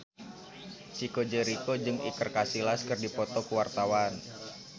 Chico Jericho jeung Iker Casillas keur dipoto ku wartawan